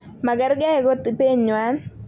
Magerge kot ibenywan.